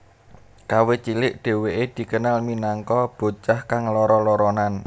Kawit cilik dheweke dikenal minangka bocah kang lara laranan